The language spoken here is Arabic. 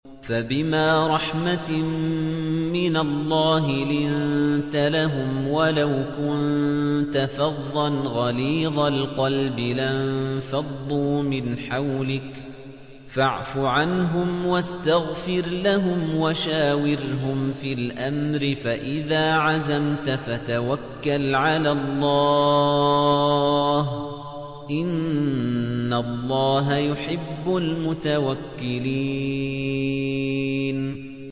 فَبِمَا رَحْمَةٍ مِّنَ اللَّهِ لِنتَ لَهُمْ ۖ وَلَوْ كُنتَ فَظًّا غَلِيظَ الْقَلْبِ لَانفَضُّوا مِنْ حَوْلِكَ ۖ فَاعْفُ عَنْهُمْ وَاسْتَغْفِرْ لَهُمْ وَشَاوِرْهُمْ فِي الْأَمْرِ ۖ فَإِذَا عَزَمْتَ فَتَوَكَّلْ عَلَى اللَّهِ ۚ إِنَّ اللَّهَ يُحِبُّ الْمُتَوَكِّلِينَ